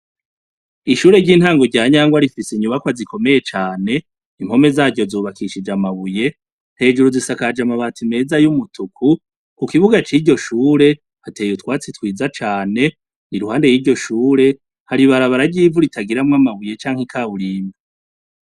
Ishure ry'intango rya Nyangwa rifise inyubakwa zikomeye cane, impome zaryo zubakishije amabuye, hejuru zisakaje amabati meza y'umutuku, ku kibuga c'iryo shure, hateye utwatsi twiza cane, iruhande y'iryo shure, hari ibarabara ry'ivuri tagiramwo amabuye canke ikawurimbo.